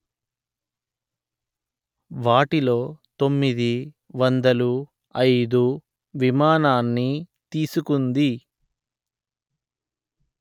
వాటిలో తొమ్మిది వందలు అయిదు విమానాన్ని తీసుకుంది